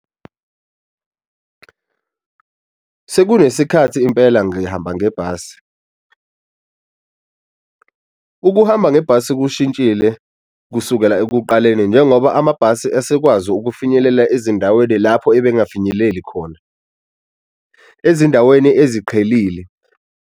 Sekunesikhathi impela ngihamba ngebhasi. Ukuhamba ngebhasi kushintshile kusukela ekuqaleni njengoba amabhasi esekwazi ukufinyelela ezindaweni lapho ebengafinyeleli khona, ezindaweni eziqhelile.